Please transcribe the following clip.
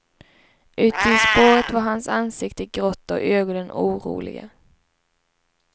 Ute i spåret var hans ansikte grått och ögonen oroliga.